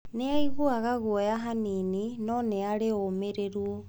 Nĩ aiguaga guoya hanini, no nĩ arĩ na ũmĩrĩru.